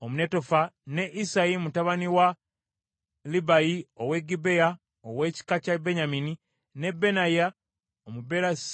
ne Isayi mutabani wa Libayi ow’e Gibea ow’ekika kya Benyamini, ne Benaya Omupirasoni,